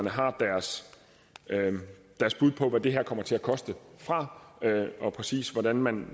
har deres bud på hvad det her kommer til at koste og præcis hvordan man